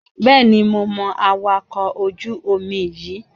Bẹ́ẹ̀ni, mo mọ awakọ̀ ojú-omi yíì